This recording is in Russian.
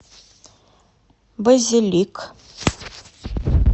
базилик